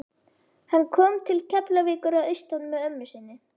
Hann kom til Keflavíkur að austan með ömmu sinni.